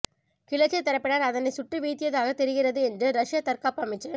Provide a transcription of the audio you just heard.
கிளர்ச்சித் தரப்பினர் அதனை சுட்டு வீழ்த்தியதாகத் தெரிகிறது என்று ரஷ்ய தற்காப்பு அமைச்சு